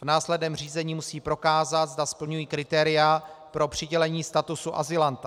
V následném řízení musí prokázat, zda splňují kritéria pro přidělení statusu azylanta.